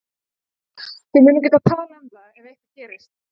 Þið munið geta talað um það ef eitthvað gerist.